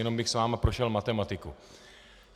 Jenom bych s vámi prošel matematiku.